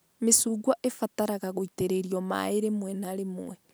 Mĩcungwa ĩbataraga gũitĩrĩrio maĩ rĩmwe na rĩmwe